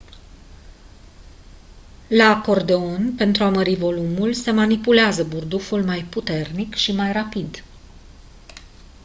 la acordeon pentru a mări volumul se manipulează burduful mai puternic și mai rapid